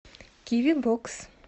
киви бокс